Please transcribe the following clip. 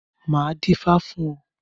Máa dífá fún ọ.